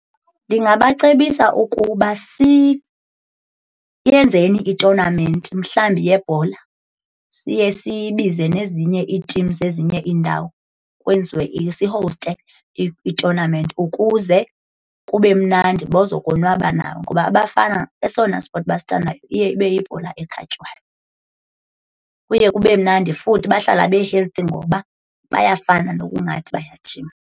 Ndingabacebisa ukuba siyenzeni itonamenti mhlawumbi yebhola siye sibize nezinye iitim zezinye iindawo, kwenziwe sihowuste itonamenti ukuze kube mnandi baza konwaba nabo. Ngoba abafana esona spothi basithandayo iye ibe yibhola ekhatywayo. Kuye kube mnandi futhi bahlala be-healthy ngoba bayafana nokungathi bayajima.